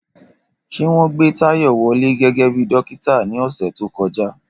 Ṣé wọ́n gbé Tayo wọlé gẹ́gẹ́ bí dókítà ní ọ̀sẹ̀ tó kọjá?